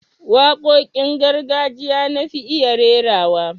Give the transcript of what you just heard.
Waƙoƙin gargajiya na fi iya rairawa